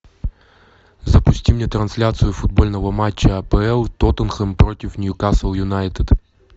запусти мне трансляцию футбольного матча апл тоттенхэм против ньюкасл юнайтед